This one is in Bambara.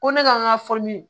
Ko ne ka n ka